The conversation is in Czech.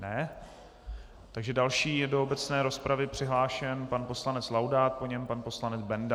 Ne, takže další je do obecné rozpravy přihlášen pan poslanec Laudát, po něm pan poslanec Benda.